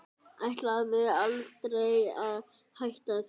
Ætlaði aldrei að hætta því.